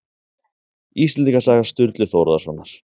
Íslendingasaga Sturlu Þórðarsonar